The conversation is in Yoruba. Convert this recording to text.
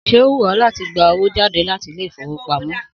Sé ó wù ọ láti gba owó jáde láti Ilé-ìfowópamó